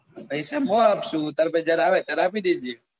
પૈસા મુ આપશું તાર પાસે જયારે આવે ત્યારે આપી દેજે.